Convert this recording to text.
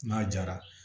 N'a jara